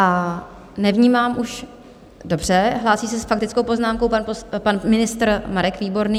A nevnímám už... dobře, hlásí se s faktickou poznámkou pan ministr Marek Výborný.